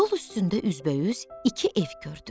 Yol üstündə üzbəüz iki ev gördü.